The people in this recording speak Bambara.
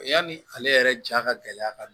Yanni ale yɛrɛ ja ka gɛlɛya ka